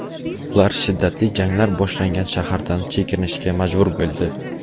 Ular shiddatli janglar boshlangan shahardan chekinishga majbur bo‘ldi.